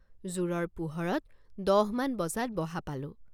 জোৰৰ পোহৰত দহমান বজাত বহা পালোঁ।